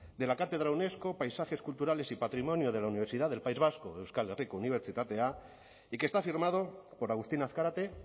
de la cátedra unesco de paisajes culturales y patrimonio de la universidad del país vasco euskal herriko unibertsitatea y que está firmado por agustín azkarate